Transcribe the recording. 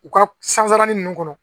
U ka sansalanin ninnu kɔnɔ